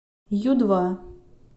ю два